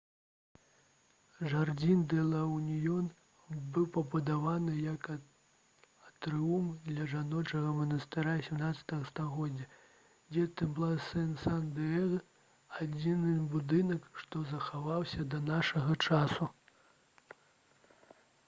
жардзін дэ ла уніён быў пабудаваны як атрыум для жаночага манастыра 17 стагоддзя дзе темпла дэ сан дыега адзіны будынак што захаваўся да нашага часу